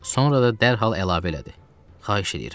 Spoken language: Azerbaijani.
Sonra da dərhal əlavə elədi: Xahiş eləyirəm.